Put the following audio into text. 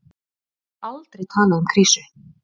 Ég hef aldrei talað um krísu.